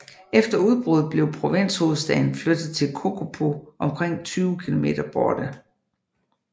Efter udbruddet blev provinshovedstaden flyttet til Kokopo omkring 20 km borte